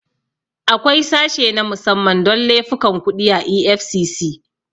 Akwai sashe na musamman don laifukan kuɗi a EFCC.